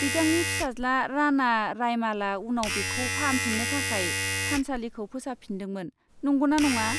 बिथांनि फिसाज्ला राना रायमालआ उनाव बेखौ फाहामफिन्नो थाखाय थानसालिखौ फोसाबफिनदोंमोन, नंगौना नङा?